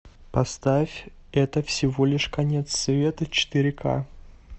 поставь это всего лишь конец света четыре ка